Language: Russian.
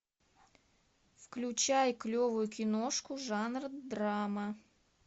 включай клевую киношку жанра драма